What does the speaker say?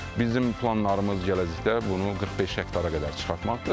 Bizim planlarımız gələcəkdə bunu 45 hektara qədər çıxartmaqdır.